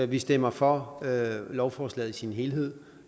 vi stemmer for lovforslaget som helhed